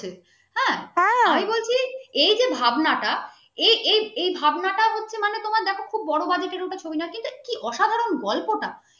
আমি বলছি এই যে ভাবনাটা এই এই দেখো খুব বড় আমি বলছি এই যে ভাবনাটা এই এই দেখো খুব বড় budget র নাকি অসাধারণ গল্পটা র নাকি অসাধারণ গল্পটা